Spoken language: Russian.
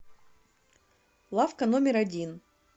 лавка номер один